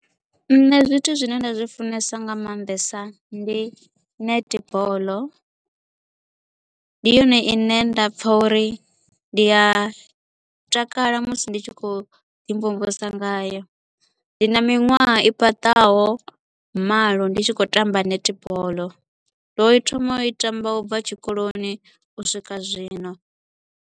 Nṋe zwithu zwine nda zwi funesa nga maanḓesa ndi netball ndi yone ine nda pfha uri ndi a takala musi ndi tshi khou ḓimvumvusa ngayo ndi na miṅwaha i fhaṱaho malo ndi tshi khou tamba netball ndo thoma u i tamba u bva tshikoloni u swika zwino.